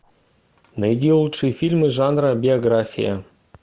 найди лучшие фильмы жанра биография